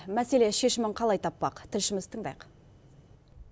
мәселе шешімін қалай таппақ тілшімізді тыңдайық